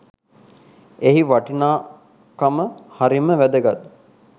එහි වටිනාකම හරිම වැදගත්.